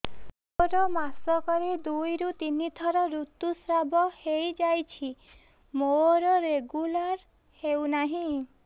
ମୋର ମାସ କ ରେ ଦୁଇ ରୁ ତିନି ଥର ଋତୁଶ୍ରାବ ହେଇଯାଉଛି ମୋର ରେଗୁଲାର ହେଉନାହିଁ